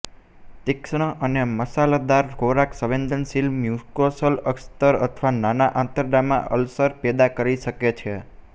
તીક્ષ્ણ અને મસાલેદાર ખોરાક સંવેદનશીલ મ્યુકોસલ અસ્તર અથવા નાના આંતરડામાં અલ્સર પેદા કરી શકે છે